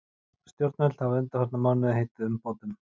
Stjórnvöld hafa undanfarna mánuði heitið umbótum